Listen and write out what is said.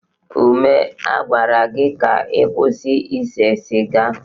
Ume, a gwara gị ka ị kwụsị ise siga!